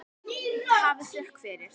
Hafið þökk fyrir.